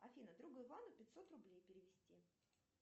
афина другу ивану пятьсот рублей перевести